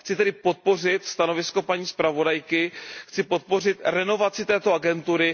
Chci tedy podpořit stanovisko paní zpravodajky, chci podpořit renovaci této agentury.